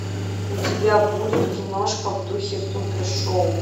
у тебя будет киношка в духе супершоу